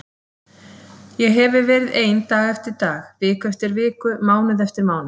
Ég hefi verið ein dag eftir dag, viku eftir viku, mánuð eftir mánuð.